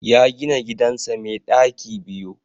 Ya gina gidansa mai ɗaki biyu.